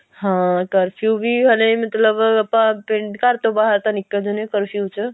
ਹਾਂ ਕਰਫਿਊ ਵੀ ਹਲੇ ਮਤਲਬ ਆਪਾਂ ਪਿੰਡ ਘਰ ਤੋਂ ਬਾਹਰ ਤਾਂ ਨਿਕਲ ਜਾਂਦੇ ਆ ਕਰਫਿਊ ਚ